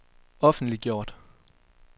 offentliggjort